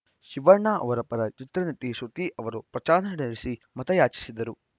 ಶಿವಣ್ಣ ಅವರ ಪರ ಚಿತ್ರನಟಿ ಶೃತಿ ಅವರು ಪ್ರಚಾರ ನಡೆಸಿ ಮತಯಾಚಿಸಿದರು